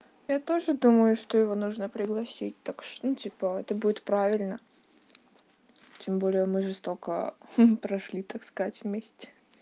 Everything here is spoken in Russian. я тоже думаю что его нужно пригласить так что типа это будет правильно тем более мы же столько прошли так сказать вместе